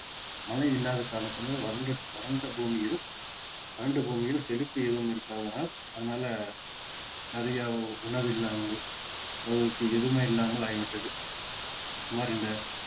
மழை இல்லாத காரணத்தினால் வறண்~ வறண்ட புமியில் வறண்ட புமியில் செழிப்பு எதுவும் இருக்காததனால் அதனால நிறைய உணவு இல்லாமல் எதுவுமே இல்லாமல் ஆகி விட்டது சுமார் இந்த